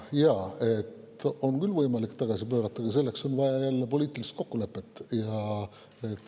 Jaa, on küll võimalik tagasi pöörata, aga selleks on vaja poliitilist kokkulepet.